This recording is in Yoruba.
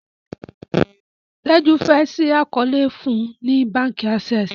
Teju fe ṣii àkọọlẹ fún ní bánkì Access.